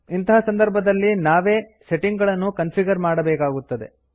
ಇಂತಹ ಸಂದರ್ಭದಲ್ಲಿ ನಾವೇ ಸೆಟ್ಟಿಂಗ್ ಗಳನ್ನು ಕನ್ಫಿಗರ್ ಮಾಡಬೆಕಾಗುತ್ತದೆ